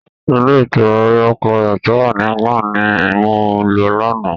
Ilé ìtura Royal Clarance tó wà ní England ni mo lọ lánáà.